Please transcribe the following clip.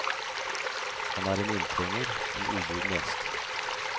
Han er en inntrenger, en ubuden gjest.